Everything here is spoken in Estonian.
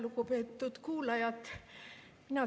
Lugupeetud kuulajad!